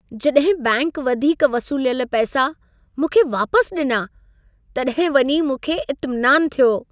जॾहिं बैंकि वधीक वसूलियल पैसा, मूंखे वापसि ॾिना, तॾहिं वञी मूंखे इतमिनानु थियो।